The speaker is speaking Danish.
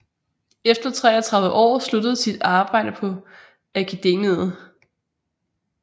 Efter 33 år sluttede sit arbejde på Akademiet